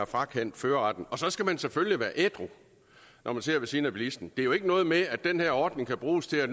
frakendt førerretten og så skal man selvfølgelig være ædru når man sidder ved siden af bilisten det er jo ikke noget med at den her ordning kan bruges til at